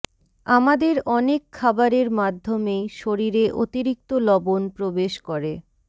আমাদের অনেক খাবারের মাধ্যমেই শরীরে অতিরিক্ত লবণ প্রবেশ করে